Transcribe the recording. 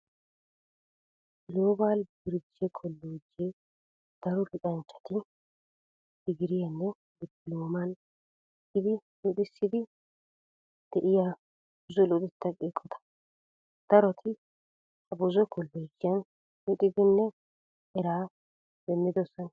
Giloobali biriije kolloojjee daro luxanchchata digiriyaaninne dippilooman ekkidi luxissiiddi de'iya buzo luxettaa eqota. Daroti ha buzo kolloojiyaan luxidinne eraa demmidosona.